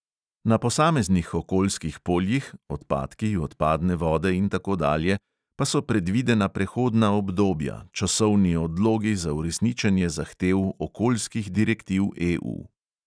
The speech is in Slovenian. Na posameznih okoljskih poljih (odpadki, odpadne vode in tako dalje) pa so predvidena prehodna obdobja, časovni odlogi za uresničenje zahtev okoljskih direktiv EU.